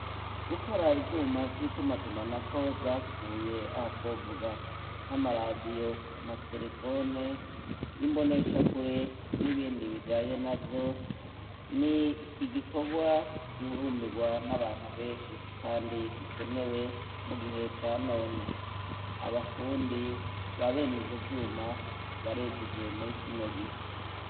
Gukora ivyuma vy'ituma tumanako vyapfuye aha twovuga nk'amaradiyo amaterefone imboneshakure n'ibindi bijaye navyo ni igikorwa gihurumbirwa n'abantu benshi kandi gikenewe mu gihe ca none abafundi babene ivyo vyuma barejeje muri kino gihe.